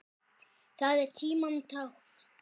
Það er tímanna tákn.